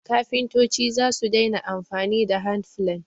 kafintoci zasu daina amfani da handplane